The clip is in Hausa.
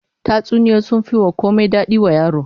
Tatsuniyoyi sun fi komai dadi wa yaro